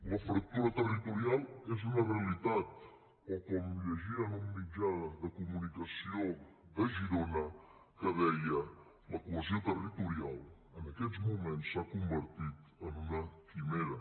la fractura territorial és una realitat o com llegia en un mitjà de comunicació de girona que deia la cohesió territorial en aquests moments s’ha convertit en una quimera